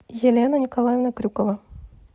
елена николаевна крюкова